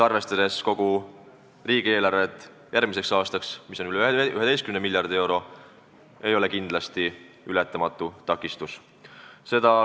Arvestades kogu järgmise aasta riigieelarvet, mis on üle 11 miljardi euro, ei ole see kindlasti ületamatu takistus.